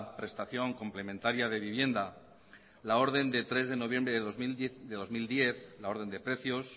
prestación complementaria de vivienda la orden de tres de noviembre del dos mil diez la orden de precios